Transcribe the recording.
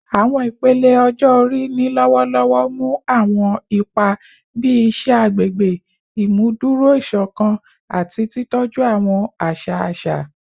Awọn ipele ọjọ-ori ni lọwọlọwọ mu awọn ipa bii iṣẹ agbegbe, imuduro isokan, ati titọju awọn aṣa aṣa